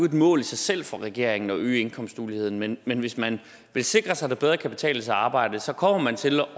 et mål i sig selv for regeringen at øge indkomstuligheden men men hvis man vil sikre sig at det bedre kan betale sig at arbejde så kommer man til at